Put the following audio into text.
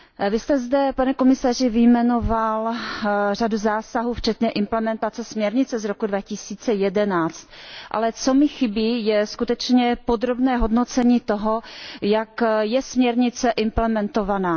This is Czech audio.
Vy jste zde, pane komisaři, vyjmenoval řadu zásahů, včetně implementace směrnice z roku 2011, ale co mi chybí, je skutečně podrobné hodnocení toho, jak je směrnice implementovaná.